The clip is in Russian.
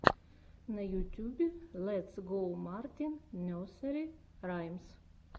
на ютьюбе летс гоу мартин несери раймс